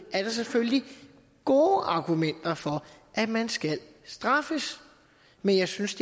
er der selvfølgelig gode argumenter for at man skal straffes men jeg synes